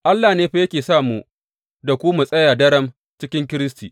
Allah ne fa yake sa mu da ku mu tsaya daram cikin Kiristi.